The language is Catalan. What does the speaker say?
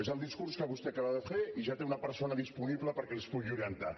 és el discurs que vostè acaba de fer i ja té una persona disponible perquè els pugui orientar